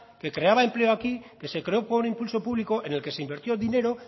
que creaba empleo aquí que se creó por un impulso público en el que se invirtió dinero